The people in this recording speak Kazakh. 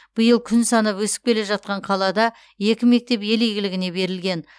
биыл күн санап өсіп келе жатқан қалада екі мектеп ел игілігіне берілген